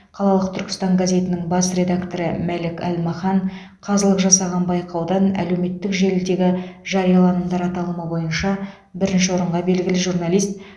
қалалық түркістан газетінің бас редакторы мәлік әлмахан қазылық жасаған байқаудың әлеуметтік желідегі жарияланымдар аталымы бойынша бірінші орынға белгілі журналист